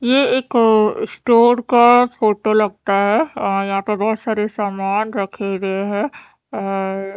ये एक स्टोर का फोटो लगता है यहाँपे बोहोत सारे सामान रखे हुए है और--